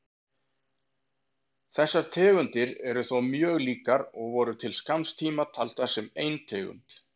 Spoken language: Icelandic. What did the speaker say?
Þessar tegundir eru þó mjög líkar og voru til skamms tíma taldar sem ein tegund.